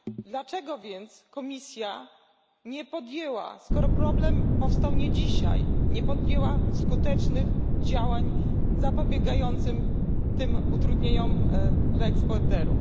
Dlaczego więc Komisja skoro problem powstał nie dzisiaj nie podjęła skutecznych działań zapobiegających tym utrudnieniom dla eksporterów?